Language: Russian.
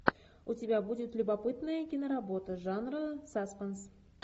у тебя будет любопытная киноработа жанра саспенс